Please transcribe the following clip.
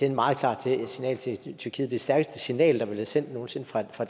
et meget klart signal til tyrkiet det stærkeste signal der er blevet sendt nogen sinde fra fra